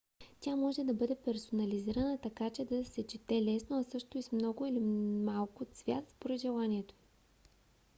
тя може да бъде персонализирана така че да се чете лесно а също и с много или малко цвят според желанието ви